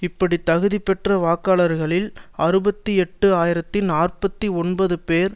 இப்படி தகுதி பெற்ற வாக்காளர்களில் அறுபத்தி எட்டு ஆயிரத்தி நாற்பத்தி ஒன்பது பேர்